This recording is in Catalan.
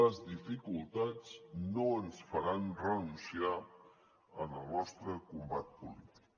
les dificultats no ens faran renunciar al nostre combat polític